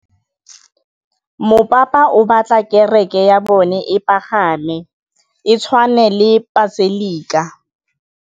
Mopapa o batla kereke ya bone e pagame, e tshwane le paselika.